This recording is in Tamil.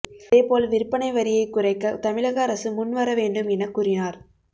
அதேபோல் விற்பனை வரியை குறைக்க தமிழக அரசும் முன் வர வேண்டும் என கூறினார்